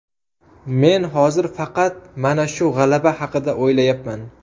Men hozir faqat mana shu g‘alaba haqida o‘ylayapman.